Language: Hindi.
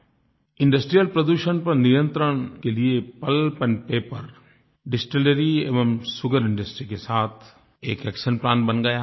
इंडस्ट्रियल प्रदूषण पर नियन्त्रण के लिए पल्प एंड पेपर डिस्टिलरी एवं सुगर इंडस्ट्री के साथ एक एक्शन प्लान प्लान बन गया है